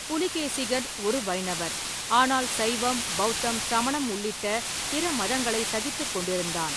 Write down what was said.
புலிகேசிகன் ஒரு வைணவர், ஆனால் சைவம், பௌத்தம், சமணம் உள்ளிட்ட பிற மதங்களை சகித்துக் கொண்டிருந்தான்.